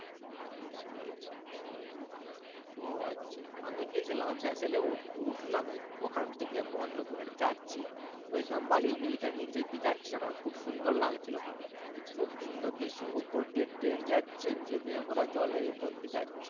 ওহ আচ্ছা, আমি গেছিলাম ওই vessel এ উঠ উঠলাম ওখান থেকে পনেরো কুড়ি মিনিট যাচ্ছি। ওই তোমার বালি bridge টার নিচে দিয়ে যাচ্ছি যখন খুব সুন্দর লাগছিলো ওখানে। খুব সুন্দর দৃশ্য। উপর দিয়ে ট্রেন যাচ্ছে নিচে দিয়ে আমরা জলের উপর দিয়ে যাচ্ছি।